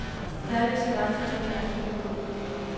Der er visse grænser for, hvor langt han vil gå.